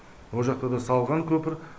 о жақта да салған көпір